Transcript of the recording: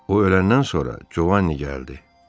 O öləndən sonra Jovanni gəldi.